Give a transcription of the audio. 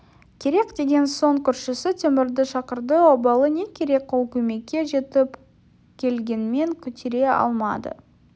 керек деген соң көршісі темірді шақырды обалы не керек ол көмекке жетіп келгенмен көтере алмады